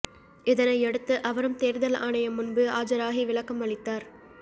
இதனையடுத்து அவரும் தேர்தல் ஆணையம் முன்பு ஆஜராகி விளக்கம் அளித்தார்